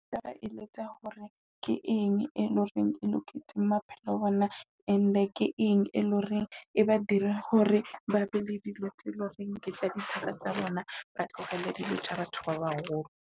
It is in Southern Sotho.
Nka ba eletsa hore ke eng e loreng e loketse maphelo a bona, And ke eng e leng hore e ba dire hore ba be le dilo tse loreng ke tla di thaba tsa bona, ba tlohele dilo tsa batho ba baholo.